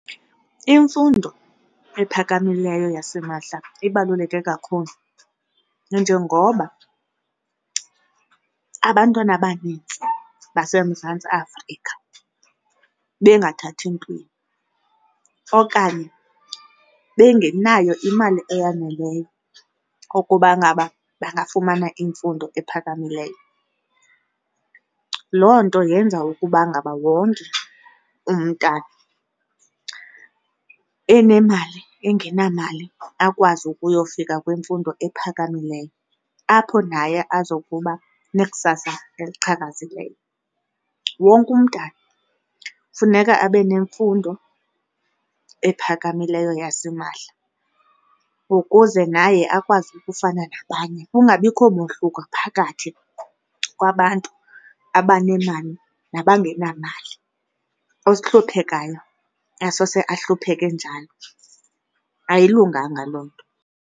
Imfundo ephakamileyo yasimahla ibaluleke kakhulu nanjengoba abantwana abanintsi baseMzantsi Afrika bengathathi ntweni okanye bengenayo imali eyaneleyo ukuba ngaba bangafumana imfundo ephakamileyo. Loo nto yenza ukuba ngaba wonke umntana enemali engenamali akwazi ukuyofika kwimfundo ephakamileyo apho naye azokuba nekusasa eliqhakazileyo. Wonke umntana kufuneka abe nemfundo ephakamileyo yasimahla ukuze naye akwazi ukufana nabanye, kungabikho mohluko phakathi kwabantu abanemali nabangenamali, ohluphekayo asose ahlupheke njalo. Ayilunganga loo nto.